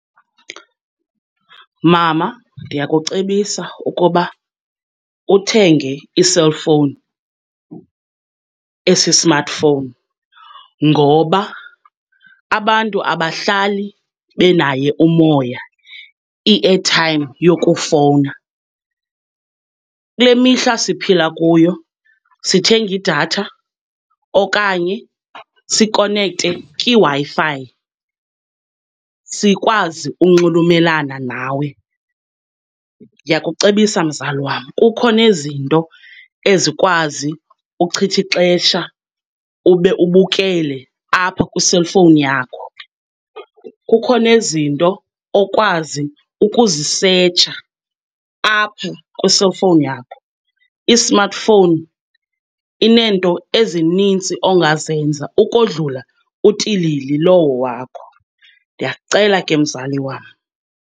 Mama, ndiyakucebisa ukuba uthenge i-cellphone esi-smartphone, ngoba abantu abahlali benaye umoya, i-airtime yokufowna. Kule mihla siphila kuyo sithenga idatha okanye sikonekte kwiWi-Fi sikwazi unxulumelana nawe. Ndiyakucebisa mzali wam, kukho nezinto ezikwazi ukuchitha ixesha ube ubukele apha kwi-cellphone yakho, kukho nezinto okwazi ukuzisetsha apho kwi-cellphone yakho. I-smartphone ineento ezininzi ongazenza ukodlula utilili lowo wakho. Ndiyakucela ke mzali wam.